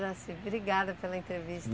Jaci, obrigada pela entrevista.